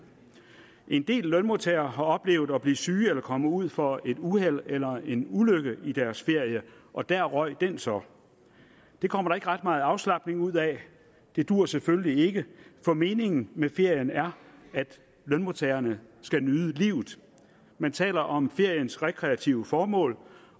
en del lønmodtagere har oplevet at blive syg eller komme ud for et uheld eller en ulykke i deres ferie og der røg den så det kommer der ikke ret meget afslapning ud af det duer selvfølgelig ikke for meningen med ferien er at lønmodtagerne skal nyde livet man taler om feriens rekreative formål